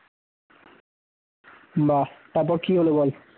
বাহ! তারপরে কি হল বল?